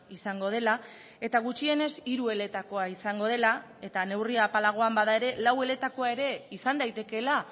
izango dela eta gutxienez hiru eletakoa izango dela eta neurri apalagoan bada ere lau eletakoa ere izan daitekeela